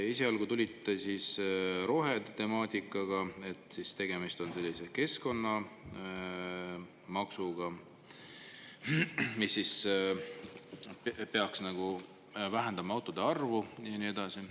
Esialgu tulite rohetemaatikaga, et tegemist on sellise keskkonnamaksuga, mis peaks vähendama autode arvu ja nii edasi.